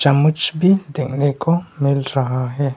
मूछ भी देखने को मिल रहा है।